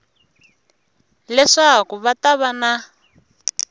leswaku va ta va na